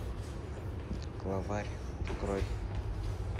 главарь открой